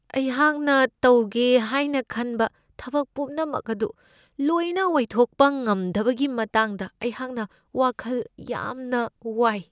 ꯑꯩꯍꯥꯛꯅ ꯇꯧꯒꯦ ꯍꯥꯏꯅ ꯈꯟꯕ ꯊꯕꯛꯄꯨꯝꯅꯃꯛ ꯑꯗꯨ ꯂꯣꯏꯅ ꯑꯣꯏꯊꯣꯛꯄ ꯉꯝꯗꯕꯒꯤ ꯃꯇꯥꯡꯗ ꯑꯩꯍꯥꯛꯅ ꯋꯥꯈꯜ ꯌꯥꯝꯅ ꯋꯥꯏ ꯫